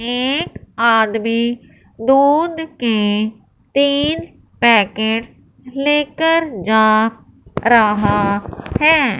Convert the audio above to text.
एक आदमी दूध के तीन पॅकेट्स लेकर जा रहा हैं।